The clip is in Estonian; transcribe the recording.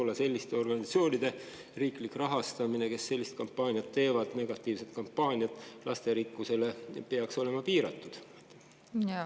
Ja kas selliste, lasterikkuse mõttes negatiivset kampaaniat tegevate organisatsioonide riiklik rahastamine peaks olema piiratud?